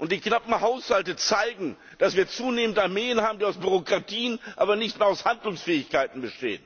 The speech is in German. Die knappen Haushalte zeigen, dass wir zunehmend Armeen haben, die nur aus Bürokratien, aber nicht mehr aus Handlungsfähigkeiten bestehen.